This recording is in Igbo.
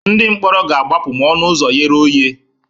Ndị mkpọrọ ga-agbapụ ma ọnụ ụzọ ghere oghe.